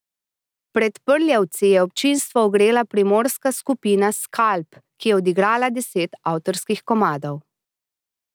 Pred Prljavci je občinstvo ogrela primorska skupina Skalp, ki je odigrala deset avtorskih komadov.